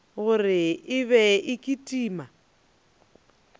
gore e be e kitima